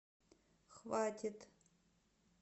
хватит